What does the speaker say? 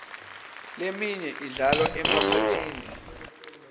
leminye idlalwa emaphathini